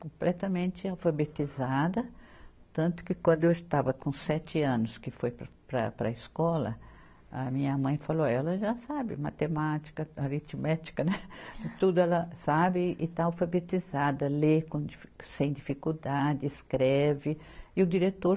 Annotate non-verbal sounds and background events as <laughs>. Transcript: completamente alfabetizada, tanto que quando eu estava com sete anos, que foi para, para, para a escola, a minha mãe falou ó, ela já sabe matemática, aritmética, né, <laughs> tudo ela sabe e está alfabetizada, lê com difi, sem dificuldade, escreve, e o diretor